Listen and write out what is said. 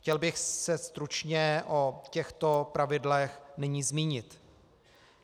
Chtěl bych se stručně o těchto pravidlech nyní zmínit.